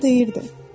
Kral deyirdi: